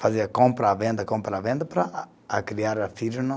Fazia compra, venda, compra, venda, para criar filhos no